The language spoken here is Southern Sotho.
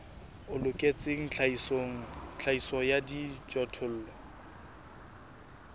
o loketseng tlhahiso ya dijothollo